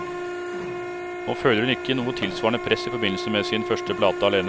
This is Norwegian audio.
Nå føler hun ikke noe tilsvarende press i forbindelse med sin første plate alene.